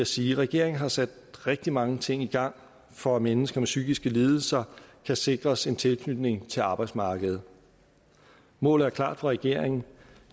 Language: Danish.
sige at regeringen har sat rigtig mange ting i gang for at mennesker med psykiske lidelser kan sikres en tilknytning til arbejdsmarkedet målet er klart for regeringen